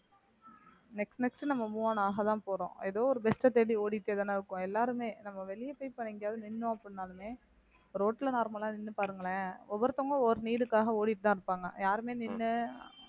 next next நம்ம move on ஆகதான் போறோம் ஏதோ ஒரு best அ தேடி ஓடிட்டேதான இருக்கோம் எல்லாருமே நம்ம வெளிய போய் பாரு எங்கயாவது நின்னோம் அப்படினாலுமே ரோட்டுல normal லா நின்னு பாருங்களேன் ஒவ்வொருத்தவங்க ஒவ்வொரு need டுக்காக ஓடிட்டு தான் இருப்பாங்க யாருமே நின்னு